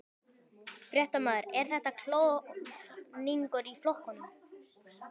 Fréttamaður: Er þetta klofningur í flokknum?